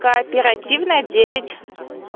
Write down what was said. кооперативная девять